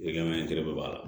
Gan gɛrɛ de b'a la